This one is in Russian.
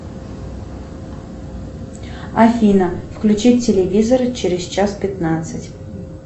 афина включи телевизоры через час пятнадцать